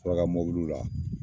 Suraka mobiliw la.